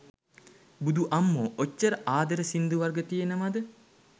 බුදු අම්මෝ ඔච්චර ආදර සිංදු වර්ග තියෙනව ද?